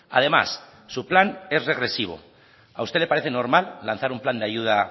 además su plan es regresivo a usted le parece normal lanzar un plan de ayuda